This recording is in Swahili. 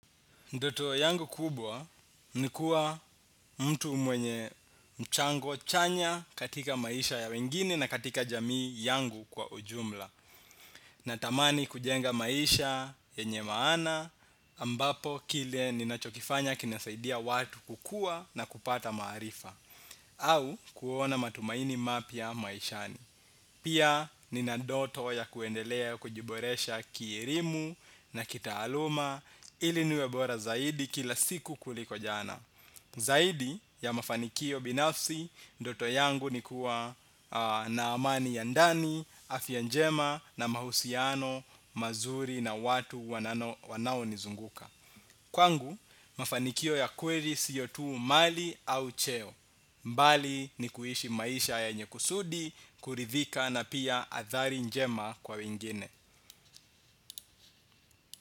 Ndoto yangu kubwa nikuwa mtu mwenye mchango chanya katika maisha ya wengine na katika jamii yangu kwa ujumla Naramani kujenga maisha yenye maana ambapo kile ninachokifanya kinasaidia watu kukua na kupata maarifa. Au kuona matumaini mapya maishani. Pia nina ndoto ya kuendelea kujiboresha kielimu na kitaaluma ili niwe bora zaidi kila siku kuliko jana. Zaidi ya mafanikio binafsi, ndoto yangu ni kuwa na amani ya ndani, afya njema na mahusiano mazuri na watu wanaonizunguka. Kwangu, mafanikio ya kweli sio tu mali au cheo. Mbali ni kuishi maisha yenye kusudi, kuridhika na pia athari njema kwa wengine.